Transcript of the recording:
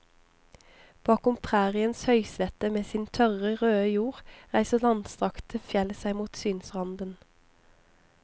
Bakom præriens høyslette med sin tørre røde jord reiser langstrakte fjell seg mot synsranden.